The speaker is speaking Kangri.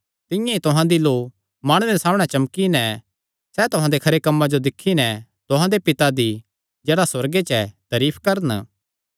तिंआं ई तुहां दी लौ माणुआं दे सामणै चमकी नैं सैह़ तुहां दे खरे कम्मां जो दिक्खी नैं तुहां दे पिता दी जेह्ड़ा सुअर्गे च ऐ तरीफ करन